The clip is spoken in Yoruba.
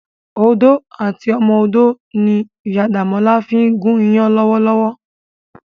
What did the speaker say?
Odó àti ọmọ odó ni Iyá Damola fin gún iyàn lòwòlòwò.